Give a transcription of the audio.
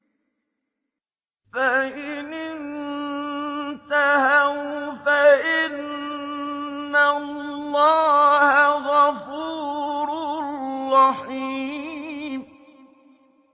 فَإِنِ انتَهَوْا فَإِنَّ اللَّهَ غَفُورٌ رَّحِيمٌ